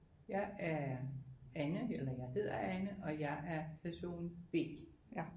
Jeg er Anne eller jeg hedder Anne og jeg er person B